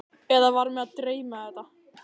Eða var mig að dreyma þetta?